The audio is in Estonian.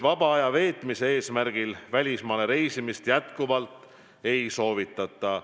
Vaba aja veetmise eesmärgil välismaale reisimist jätkuvalt ei soovitata.